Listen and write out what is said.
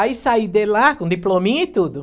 Aí, saí de lá, com diplominha e tudo.